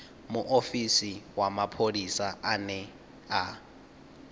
muofisi wa mapholisa ane a